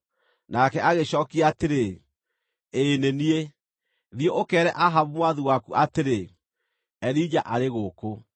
Nake agĩcookia atĩrĩ, “Ĩĩ nĩ niĩ, thiĩ ũkeere Ahabu mwathi waku atĩrĩ, ‘Elija arĩ gũkũ.’ ”